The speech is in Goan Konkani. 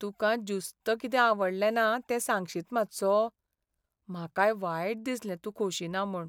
तुकां ज्युस्त कितें आवडलें ना तें सांगशीत मात्सो? म्हाकाय वायट दिसलें तूं खोशी ना म्हूण.